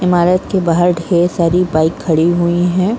इमारत के बाहर ढेर सारी बाइक खड़ी हुई हैं ।